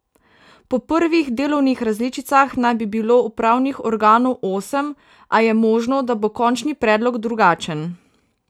Po prvih delovnih različicah naj bi bilo upravnih organov osem, a je možno, da bo končni predlog drugačen.